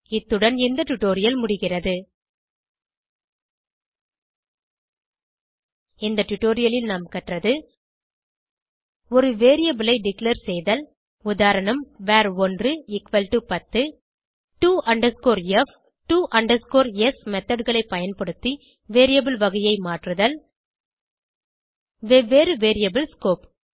இத்துடன் இந்த டுடோரியல் முடிகிறது இந்த டுடோரியலில் நாம் கற்றது ஒரு வேரியபிள் ஐ டிக்ளேர் செய்தல் உதா var110 to f to s methodகளை பயன்படுத்தி வேரியபிள் வகையை மாற்றுதல் வெவ்வேறு வேரியபிள் ஸ்கோப்